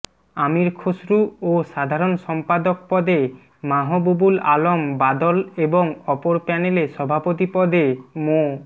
আমির খসরু ও সাধারণ সম্পাদক পদে মাহবুবুল আলম বাদল এবং অপর প্যানেলে সভাপতি পদে মো